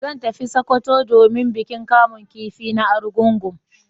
Zan tafi sokoto domin bikin kamun kifi na arungugun